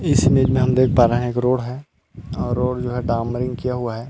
इस इमेज मे हम देख पा रहै है एक रोड है रोड जो है डामर किया हुआ है।